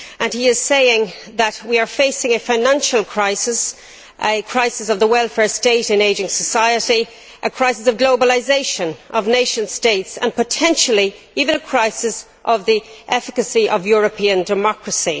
He says that we are facing a financial crisis a crisis of the welfare state in an ageing society, a crisis of globalisation of nation states and, potentially, even a crisis of the efficacy of European democracy.